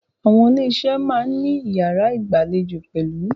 Àwọn ilé iṣé a máà ní iyàrá ìgbàlejò pẹ̀lú.